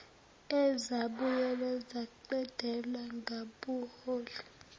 ezabuye zaqedelwa ngabuholi